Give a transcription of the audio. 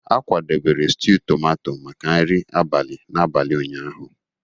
A kwadebere stew tomato maka nri abalị n'abalị ụnyaahụ.